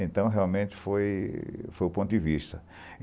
Então, realmente, foi foi o ponto de vista.